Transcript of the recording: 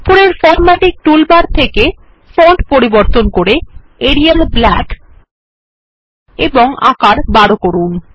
উপরের formatting toolbar থেকে font পরিবর্তন করে এরিয়াল ব্ল্যাক এবং আকার ১২ করুন